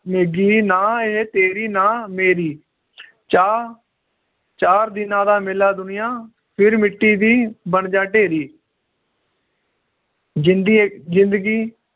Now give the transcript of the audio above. ਨਾ ਇਹ ਤੇਰੀ ਨਾ ਮੇਰੀ ਚਾਰ ਚਾਰ ਦਿਨਾਂ ਦਾ ਮੇਲਾ ਦੁਨੀਆਂ ਫਿਰ ਮਿੱਟੀ ਦੀ ਬਣਜਾ ਢੇਰੀ ਜਿੰਦੀ ਏ ਜਿੰਦਗੀ